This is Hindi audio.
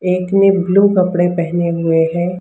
एक ने ब्लू कपड़े पहने हुए हैं।